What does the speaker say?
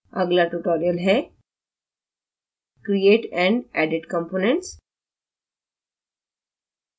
अगला tutorial है create and edit components